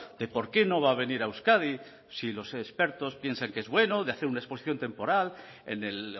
de porque no va a venir a euskadi si los expertos piensan que es bueno de hacer una exposición temporal en el